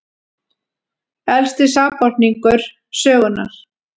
Elsti sakborningur sögunnar